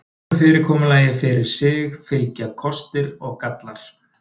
Hvoru fyrirkomulagi fyrir sig fylgja kostir og gallar.